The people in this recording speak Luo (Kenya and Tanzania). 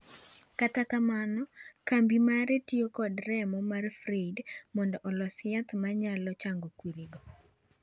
Kata kamano kambi mare tiyo kod remo mar Friede mondo olos yath ma nyalo chango kwirigo.